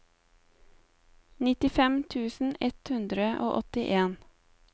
nittifem tusen ett hundre og åttien